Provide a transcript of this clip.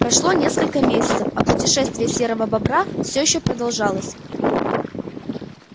прошло несколько месяцев а путешествие серого бобра всё ещё продолжалось